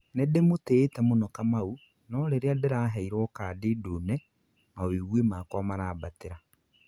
nindimũtiĩte mũno Kamau no rĩrĩa ndiraheirwo kadi ndune, maũigwi makwa marambatira